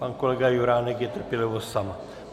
Pak kolega Juránek, je trpělivost sama.